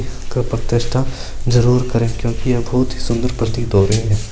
जरूर करे क्योकि बहुत ही सुन्दर प्रतीत हो रही हैं।